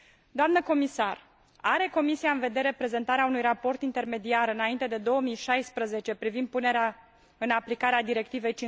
Doamnă Comisar, are Comisia în vedere prezentarea unui raport intermediar înainte de 2016 privind punerea în aplicare a Directivei